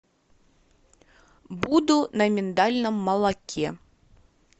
буду на миндальном молоке